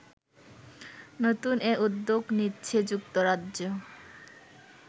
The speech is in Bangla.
নতুন এ উদ্যোগ নিচ্ছে যুক্তরাজ্য